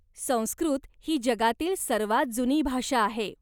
संस्कृत ही जगातील सर्वांत जुनी भाषा आहे.